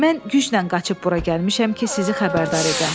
Mən güclə qaçıb bura gəlmişəm ki, sizi xəbərdar edəm.